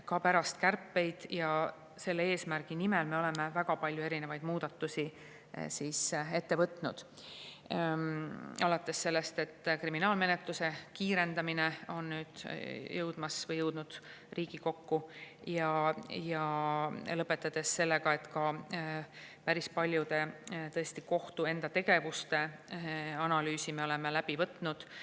Ka pärast kärpeid me oleme selle eesmärgi nimel väga palju erinevaid muudatusi ette võtnud, alates sellest, et kriminaalmenetluse kiirendamine on nüüd jõudmas või juba jõudnud Riigikokku, ja lõpetades sellega, et me oleme päris paljude kohtu enda tegevuste analüüsi teinud.